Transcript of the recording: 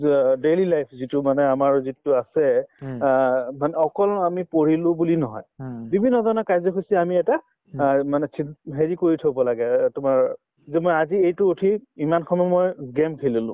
অ daily life যিটো মানে আমাৰ যিটো আছে অ মানে অকল আমি পঢ়িলো বুলি নহয় যিকোনো ধৰণৰ কাৰ্য্যসূচী আমি এটা আৰু মানে হেৰি কৰি থব লাগে এই তোমাৰ যে মই আজি এইটো উঠি ইমান সময় মই game খেলিলো